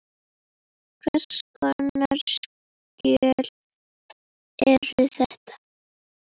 Hvers konar skjöl eru þetta?